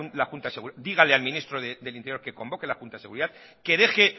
la junta de seguridad díganle al ministro de interior que convoque la junta de seguridad que deje